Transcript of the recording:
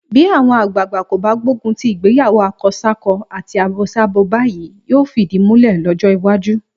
Bí àwọn àgbàagbà kò bá gbógun ti ìgbéyàwó akọsákọ àti abosábo báyìí, yóò fìdí múlẹ̀ lọ́jọ́ iwájú.